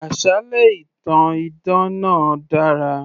Àsálẹ́ ìtàn idán náà dára